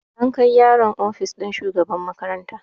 An kai yaron ofis ɗin shugaban makaranta